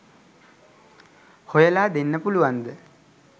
හොයලා දෙන්න පුළුවන්ද?